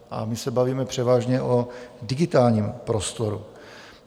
A my se bavíme převážně o digitálním prostoru.